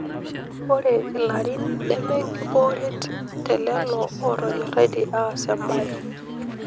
Ore ilarin neme enkibooret te lelo ootonyoraitie aas embaye.